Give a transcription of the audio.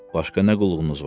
Başqa nə qulluğunuz var?